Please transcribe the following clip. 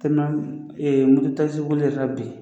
boli yɛrɛ la bi